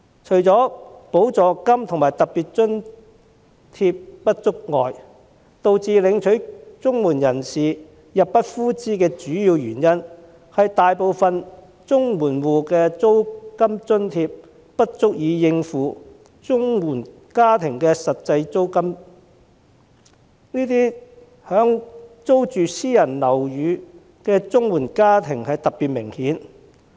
除了補助金及特別津貼不足外，綜援申領人入不敷支的主要原因，是租金津貼大多不足以應付實際租金，這問題以租住私人樓宇的綜援申領家庭特別明顯。